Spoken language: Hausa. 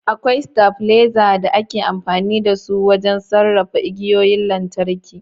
Akwai stabilizers da ake amfani da su wajen sarrafa igiyoyin lantarki